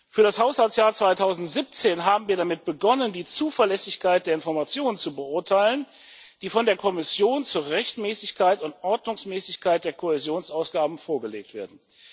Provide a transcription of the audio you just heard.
Für das Haushaltsjahr 2017 haben wir damit begonnen, die Zuverlässigkeit der Informationen zu beurteilen, die von der Kommission zur Rechtmäßigkeit und Ordnungsmäßigkeit der Kohäsionsausgaben vorgelegt werden.